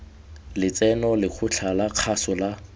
letseno lekgotla la kgaso la